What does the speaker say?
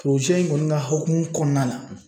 Foro siɲɛ in kɔni ka hukumu kɔnɔna la